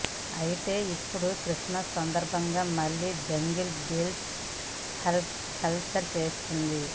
అయితే ఇప్పుడు క్రిస్మస్ సందర్భంగా మళ్ళి జింగల్ బెల్స్ హల్చల్ చేస్తుంది